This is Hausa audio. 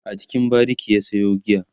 a cikin bariki ya Sayo giya